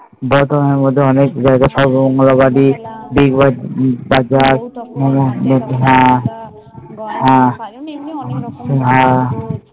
সব মঙ্গোল বাদী তারপর হ্যাঁ